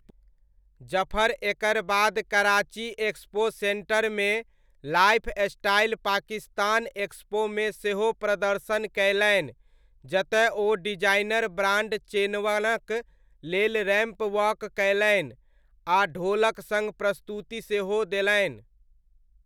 जफर एकर बाद कराची एक्सपो सेण्टरमे लाइफस्टाइल पाकिस्तान एक्सपोमे सेहो प्रदर्शन कयलनि जतय ओ डिजाइनर ब्राण्ड चेनवनक लेल रैम्प वॉक कयलनि आ ढोलक सङ्ग प्रस्तुति सेहो देलनि।